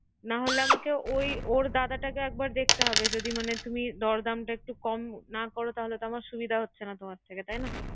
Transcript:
না হলে আমাকে ওই ওর দাদাটাকে একবার দেখতে যদি মানে তুমি দর দামটা একটু কম না করো। তাহলে তো আমার সুবিধা হচ্ছে না তোমার থেকে।